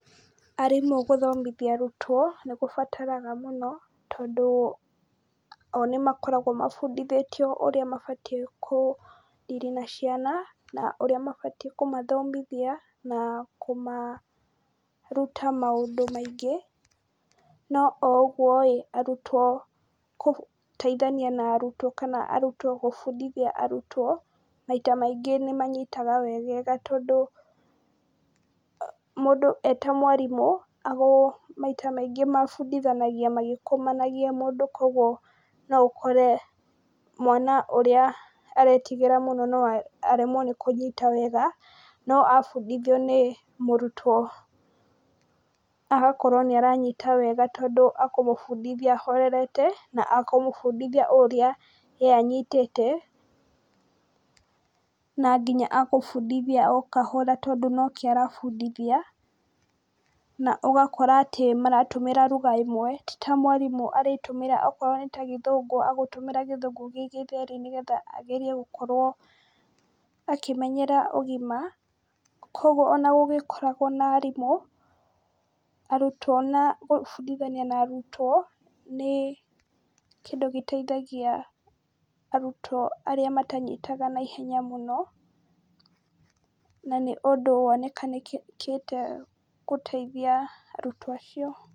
Arimũ gũthomithia arutwo nĩ gũbataraga mũno, tondũ o nĩmakoragwo mabundithĩtio ũrĩa mabatiĩ kũ deal na ciana, na ũrĩa mabatiĩ kũmathomithia, na kũmaruta maũndũ maingĩ, no o ũgwoĩ arutwo gũteithania na arutwo, kana arutwo gũbundithia arutwo maita maingĩ nĩmanyitaga wegega tondũ , mũndũ eta mwarimũ maita maingĩ mabundithanagia magĩkũmanagia mũndũ , kũgwo no ũkore mwana ũrĩa ũretigĩra mũno aremwo nĩ kũnyita wega, no abundithio nĩ mũrutwo agakorwo nĩ aranyita wega tondũ akũmũbundithia ahorerete, akũmũbundithia ũrĩa ye anyitĩte , na nginya agũbundithia o kahora tondũ nike arabundithia, na ũgakora maratũmĩra lugha ĩmwe, ti ta mwarimũ arĩtũmĩra okorwo nĩta gĩthũngũ agũtũmĩra gĩthũngũ gĩ gĩtheri , nĩgetha akorwo akĩmenyera ũgima , kũgwo ona gũgĩkoragwo na arimũ, arutwo gũbundithania na arutwo nĩ kĩndũ gĩteithagia arutwo arĩa matanyitaga na ihenya mũno, na nĩ ũndũ wonekanĩkĩte gũteithia arutwo acio.